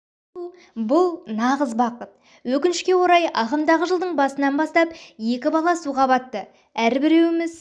болу бұл нағыз бақыт өкіншке орай ағымдағы жылдың басынан бастап екі бала суға батты әрбіреуіміз